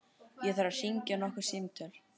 Ég þarf að hringja nokkur símtöl.